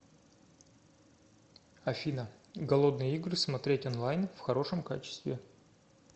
афина голодные игры смотреть онлайн в хорошем качестве